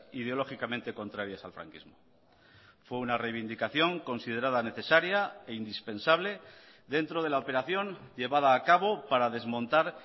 ideológicamente contrarias al franquismo fue una reivindicación considerada necesaria e indispensable dentro de la operación llevada a cabo para desmontar